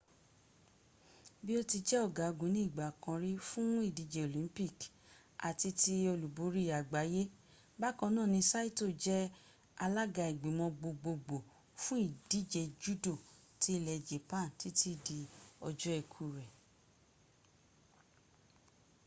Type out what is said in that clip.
bí ó ti jẹ́ ọ̀gágun ní ìgbà kan rí fún ìdíje olympic àti ti olúborí àgbáyé bákan náà ni saito jẹ́ the alága ìgbìmọ̀ gbogbogbò fún ìdíje judo ti ilẹ̀ japan títí dí ọjọ́ ikú rẹ̀